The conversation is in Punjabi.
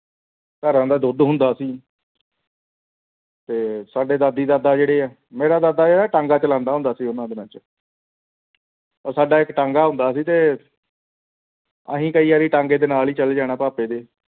ਘਰਾਂ ਦਾ ਦੁੱਧ ਹੁੰਦਾ ਸੀ ਤੇ ਸਾਡੇ ਦਾਦੀ ਦਾਦਾ ਜੁੜਿਆ ਮੀਰਾਂ ਦਾ ਜੋੜਾ ਆਹ ਟਾਂਗਾ ਚਲਾਉਂਦਾ ਹੁੰਦਾ ਸੀ ਉਹਨਾਂ ਦਿਨਾਂ ਦੇ ਵਿੱਚ ਸਾਡਾ ਇੱਕ ਟਾਂਗਾ ਹੁੰਦਾ ਸੀ ਤੇ ਅਸੀਂ ਕਈ ਵਾਰੀ ਟਾਂਗਾ ਦੇ ਨਾਲ ਹੀ ਚਲੇ ਜਾਣਾ ਭਾਪੇ ਦੇ